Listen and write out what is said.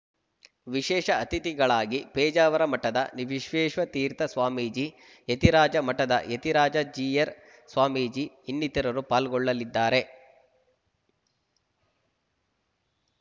ವಿಶೇಷ ಅತಿಥಿಗಳಾಗಿ ಪೇಜಾವರ ಮಠದ ವಿಶ್ವೇಶ ತೀರ್ಥ ಸ್ವಾಮೀಜಿ ಯತಿರಾಜ ಮಠದ ಯತಿರಾಜ ಜೀಯರ್‌ ಸ್ವಾಮೀಜಿ ಇನ್ನಿತರರು ಪಾಲ್ಗೊಳ್ಳಲಿದ್ದಾರೆ